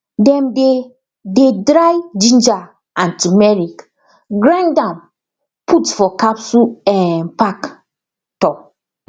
dem dey dey dry ginger and turmeric grind am put for capsule um pack um